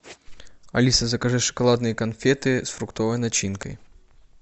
алиса закажи шоколадные конфеты с фруктовой начинкой